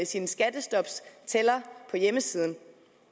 sin skattestoptæller på hjemmesiden